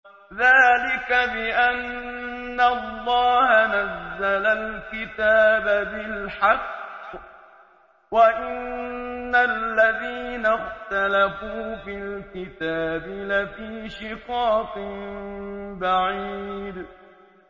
ذَٰلِكَ بِأَنَّ اللَّهَ نَزَّلَ الْكِتَابَ بِالْحَقِّ ۗ وَإِنَّ الَّذِينَ اخْتَلَفُوا فِي الْكِتَابِ لَفِي شِقَاقٍ بَعِيدٍ